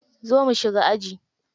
Zo mu shiga aji.